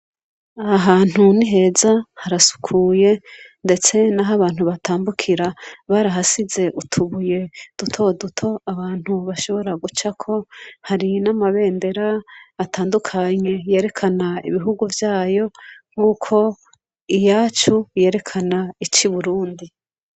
Ahantu niheza harasukuye ndetse n'aho abantu batambukira barahasize utubuye duto duto abantu bashobora guca ko hari n'amabendera atandukanye yerekana ibihugu byayo nk'uko iyacu yerekana ici Burundi.